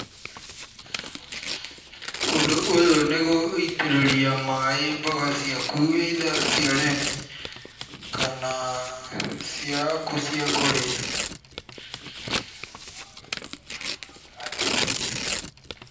Ũndũ ũyũ nĩ gũitĩrĩria maaĩ mboga ciaku either cia ũrĩmi kana ciaku cia kũrĩa.